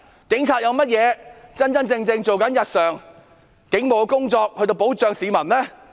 警察日常做了甚麼警務工作來保障市民呢？